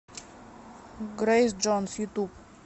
грэйс джонс ютуб